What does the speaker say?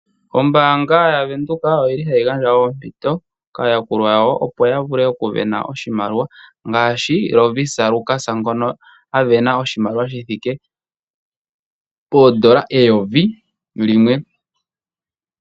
Ombaanga yaVenduka oyili hayi gandja oompito kaayakulwa yawo, opo ya vene oshimaliwa ngaashi Lovisa Lukas ngono a vena oshimaliwa shithike poondola eyovi limwe.